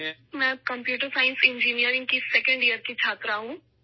میں computer science engineering کی دوسرے سال کی طالبہ ہوں